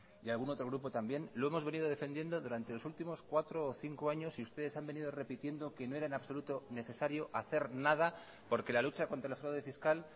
y algún otro grupo también lo hemos venido defendiendo durante los últimos cuatro o cinco años y ustedes han venido repitiendo que no era en absoluto necesario hacer nada porque la lucha contra el fraude fiscal